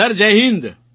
sir Jai Hind